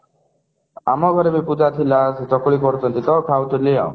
ଆମ ଘରେ ବି ପୂଜା ଥିଲା ସେଟା ପୁଣି କରୁଥିଲି ତ ଖାଉଥିଲି ଆଉ